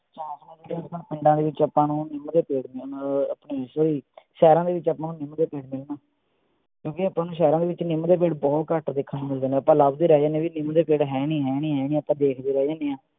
ਪਿੰਡਾਂ ਦੇ ਵਿਚ ਆਪਾਂ ਨੂੰ ਨਿੱਮ ਦੇ ਪੇੜ ਆਪਣੇ ਸ਼ਹਿਰਾਂ ਦੇ ਵਿਚ ਆਪਾਂ ਨੂੰ ਨਿੱਮ ਦੇ ਪੇੜ ਮਿਲਣਗੇ ਕਿਓਂਕਿ ਆਪਾਂ ਨੂੰ ਸ਼ਹਿਰਾਂ ਦੇ ਵਿਚ ਨਿੱਮ ਦੇ ਪੇੜ ਬਹੁਤ ਘੱਟ ਵੇਖਣ ਨੂੰ ਮਿਲਦੇ ਨੇ ਆਪਾਂ ਲਭਦੇ ਰਹਿ ਜਾਨੇ ਆ ਵੀ ਨਿੱਮ ਦੇ ਪੇੜ ਹੈ ਨਹੀਂ ਹੈ ਨਹੀਂ ਆਪਾਂ ਦੇਖਦੇ ਰਹਿ ਜਾਨੇ ਆ